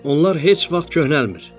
Onlar heç vaxt köhnəlmir.